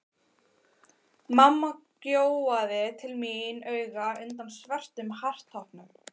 Mamma gjóaði til mín auga undan svörtum hártoppnum.